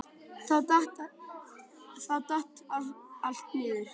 Þá datt allt niður.